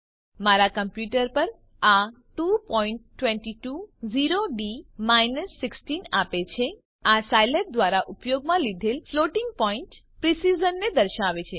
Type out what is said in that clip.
મારા કમ્પ્યુટર પર આ 2220ડી 16 આપે છે આ સાયલેબ દ્વારા ઉપયોગમાં લીધેલ ફ્લોટિંગ પોઈન્ટ પ્રીસિઝનને દર્શાવે છે